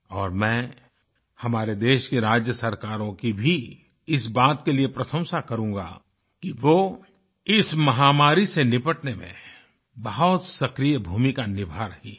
और मैं हमारे देश की राज्य सरकारों की भी इस बात के लिए प्रशंसा करूँगा कि वो इस महामारी से निपटने में बहुत सक्रिय भूमिका निभा रही हैं